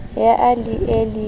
ya a le e le